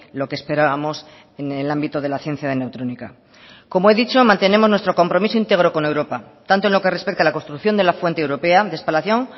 lo que esperábamos en el ámbito de la ciencia de neutrónica como he dicho mantenemos nuestro compromiso íntegro con europa tanto en lo que respecta a la construcción de la fuente europea de espalación